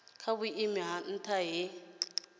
kwa vhuimo ha nha he